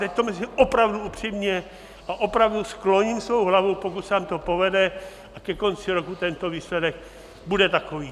Teď to myslím opravdu upřímně a opravdu skloním svou hlavu, pokud se vám to povede a ke konci roku tento výsledek bude takový.